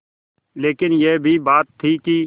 लेकिन यह भी बात थी कि